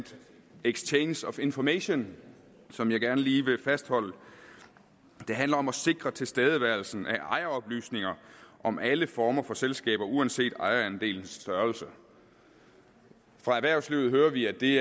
exchange of information som jeg gerne lige vil fastholde det handler om at sikre tilstedeværelsen af ejeroplysninger om alle former for selskaber uanset ejerandelens størrelse fra erhvervslivet hører vi at det